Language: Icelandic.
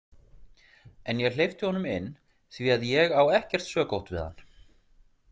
En ég hleypti honum inn því að ég á ekkert sökótt við hann.